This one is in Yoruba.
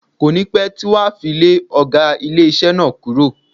Kò ní pẹ́ tí wọ́n á fi lé ọ̀gá ilé iṣẹ́ náà kúrò.